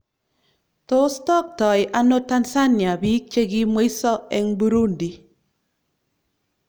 Tos toktoi ano Tanzania bik che kimweiso eng Burundi ?